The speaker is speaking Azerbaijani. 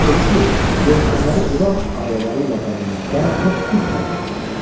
O dedi ki, yelkənləri Quran ayələri ilə bəzəməkdə çox düz hərəkət etmişik.